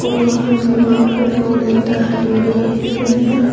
वहां दीवार पर दो मीटर लगे हुए दिख रहे हैं।